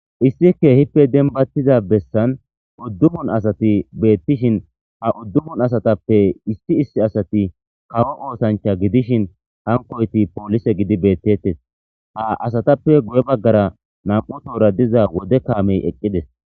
issi kehippe denbattiza bessan uddumun asati beettishin ha uddumun asatappe isti issi asati kawo oosancha gidishin hankoyti poolise gidi beettettes ha asatappe guye baggara nam"u toora diza wode kaamey eqqides.